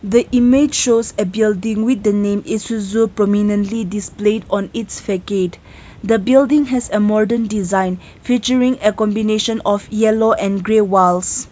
the image shows a building with the name Isuzu the building has a modern design featuring a combination of yellow and grey walls.